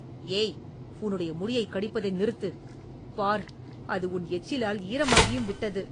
ஏய்... உன்னுடைய முடியைக் கடிப்பதை நிறுத்து. பார், அது உன் எச்சிலால் ஈரமாகியும் விட்டது.